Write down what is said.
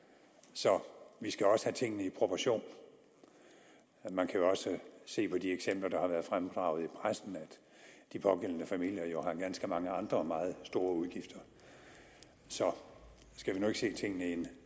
så vi skal også se tingene i proportioner man kan jo også se på de eksempler der har været fremdraget i pressen at de pågældende familier har ganske mange andre meget store udgifter så skal vi nu ikke se tingene i en